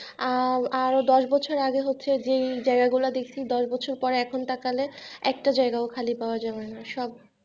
RR দশ বছর আগে হচ্ছে যেই জায়গাগুলো দেখছি দশ বছর পরে এখন তা কালে একটা জায়গা ও খালি পাওয়া যাবে না সব।